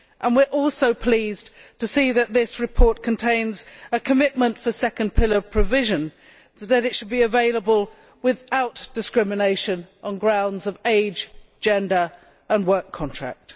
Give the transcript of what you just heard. We are also pleased to see that this report contains a commitment for second pillar provision, that it should be available without discrimination on grounds of age, gender and work contract.